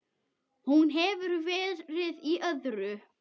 Hún hefur verið í öðru.